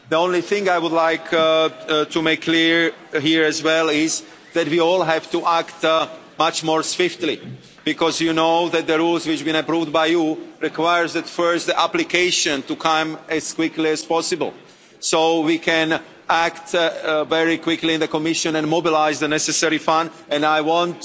The only thing I would like to make clear here, as well, is that we all have to act much more swiftly because you know that the rules which have been approved by you require that first the application comes as quickly as possible so we can act very quickly in the Commission and mobilise the necessary funds. I want